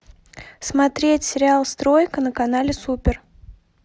смотреть сериал стройка на канале супер